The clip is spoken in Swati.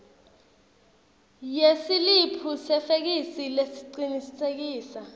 yesiliphu sefeksi lesicinisekisa